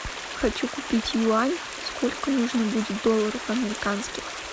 хочу купить юань сколько нужно будет долларов американских